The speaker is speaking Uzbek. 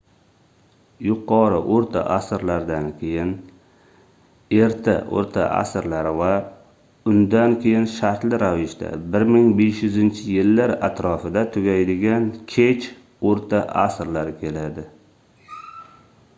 yuqori oʻrta asrlardan keyin erta oʻrta asrlar va undan keyin shartli ravishda 1500-yillar atrofida tugaydigan kech oʻrta asrlar keladi